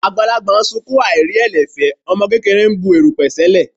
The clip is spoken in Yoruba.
Àgbàlagbà ń sunkún aìrí ẹ̀lẹ̀ fẹ́, ọmọ kékeré ń bu erùpẹ̀ sẹ́lẹ̀.